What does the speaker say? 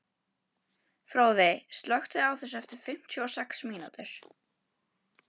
Fróði, slökktu á þessu eftir fimmtíu og sex mínútur.